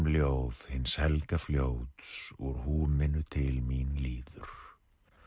harmljóð hins helga fljóts úr húminu til mín líður